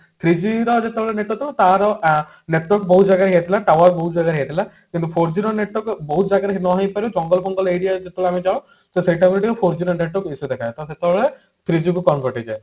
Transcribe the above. three G ର ଯେତେବେଳେ network ଥିବ ତାର ଆ network ବହୁତ ଜାଗାରେ ହେଇ ଯାଇଥିଲା tower ବହୁତ ଜାଗାରେ ହେଇ ଯାଇଥିଲା କିନ୍ତୁ four G ର network ବହୁତ ଜାଗାରେ hang ହେଇପାରେ ଜଙ୍ଗଲ ଫଙ୍ଗଲ aria ଯେତେବେଳେ ଆମେ ଯାଉ ତ ସେଇ time four G ର network issue ଦେଖାଏ ତ ସେତେବେଳେ three G କୁ convert ହେଇଯାଏ